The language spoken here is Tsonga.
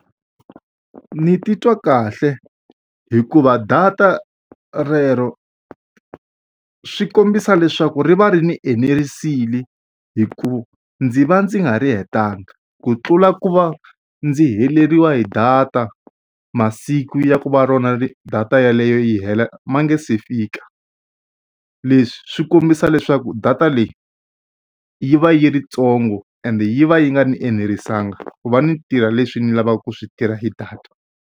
Ndzi titwa kahle hikuva data relero swi kombisa leswaku ri va ri ni enerisekile, hikuva ndzi va ndzi nga ri hetanga. Ku tlula ku va ndzi heleriwa hi data masiku ya ku va rona data yeleyo yi hela ma nga se fika. Leswi swi kombisa leswaku data leyi, yi va yi yi ntsongo ende yi va yi nga ni enerisekanga ku va ni tirha leswi ni lavaka ku swi tirha hi data.